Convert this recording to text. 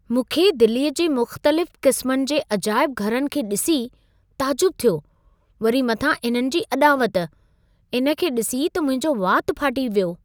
मूंखे दिल्लीअ जे मुख़्तलिफ़ क़िस्मनि जे अजाइब घरनि खे डि॒सी ताजुब थियो। वरी मथां इन्हनि जी अॾावत! इन खे ॾिसी त मुंहिंजो वातु फाटी वियो।